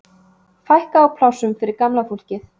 Fækka á plássum fyrir gamla fólkið